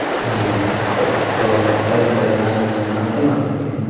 ಹಾ ಒ ಓ ಸರಿ ಸರಿ ನಾನು ಮತ್ತೇ ಮಾಡ್ತೇನೆ.